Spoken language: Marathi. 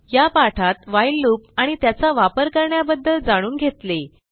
या पाठात व्हाईल लूप आणि त्याचा वापर करण्याबद्दल जाणून घेतले